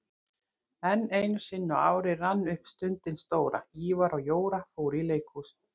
En einusinni á ári rann upp stundin stóra: Ívar og Jóra fóru í leikhús